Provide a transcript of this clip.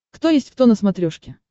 кто есть кто на смотрешке